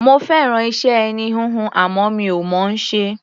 Mo fẹ́ràn iṣẹ́ ẹní-híhun, àmọ́ mi ò mọ̀ ọ́n ṣe.